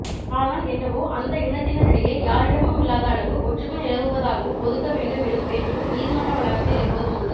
ஆனால் என்னவோ அந்த இனத்தினரிடையே யாரிடமுமில்லாத அளவு ஒற்றுமை நிலவுவதாகவும் ஒதுக்கவேண்டும் எனும் பேச்சும் நீதிமன்ற வளாகத்தில் எப்போதுமுண்டு